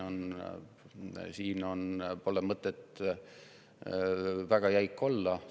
Siin pole mõtet väga jäik olla.